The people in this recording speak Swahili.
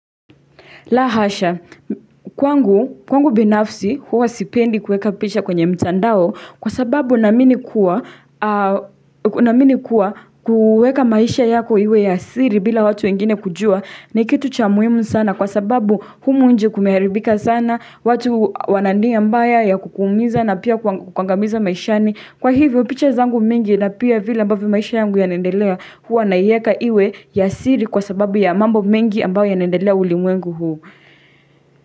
La hasha, kwangu binafsi huwa sipendi kueka picha kwenye mtandao kwa sababu naamini kuwa kuweka maisha yako iwe ya siri bila watu wengine kujua ni kitu cha muhimu sana kwa sababu humu nje kumeharibika sana, watu wana nia mbaya ya kukuumiza na pia kuangamiza maishani. Kwa hivyo picha zangu mingi na pia vile ambavyo maisha yangu yanaendelea huwa naieka iwe ya siri kwa sababu ya mambo mingi ambao yanaendelea ulimwengu huu.